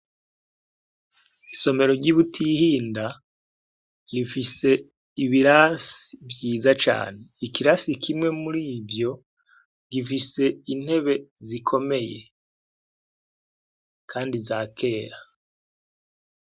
Isomero ry'ibutihinda rifise ibirasi vyiza cane ikirasi kimwe murivyo gifise intebe zikomeye kandi za kera.